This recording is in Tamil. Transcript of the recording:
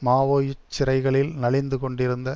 மாவோயிச சிறைகளில் நலிந்து கொண்டிருந்த